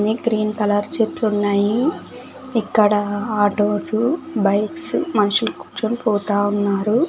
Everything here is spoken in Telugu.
అన్ని గ్రీన్ కలర్ చెట్లు ఉన్నాయి ఇక్కడ ఆటోసు బైక్స్ మనుషుల కూర్చొని పోతా ఉన్నారు.